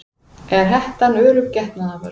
Er hettan örugg getnaðarvörn?